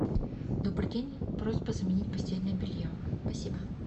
добрый день просьба заменить постельное белье спасибо